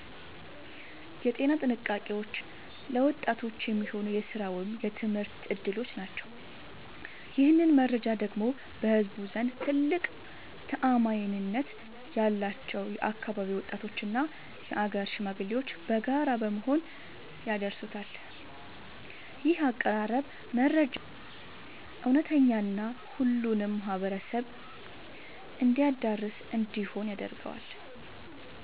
የጤና ጥንቃቄዎች እና ለወጣቶች የሚሆኑ የሥራ ወይም የትምህርት ዕድሎች ናቸው። ይህንን መረጃ ደግሞ በህዝቡ ዘንድ ትልቅ ተአማኒነት ያላቸው የአካባቢው ወጣቶችና የአገር ሽማግሌዎች በጋራ በመሆን ያደርሱታል። ይህ አቀራረብ መረጃው እውነተኛና ሁሉንም ማህበረሰብ የሚያዳርስ እንዲሆን ያደርገዋል።